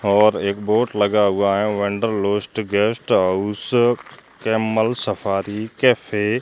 और एक बोर्ड लगा हुआ है wanderlust guest house camel safari cafe --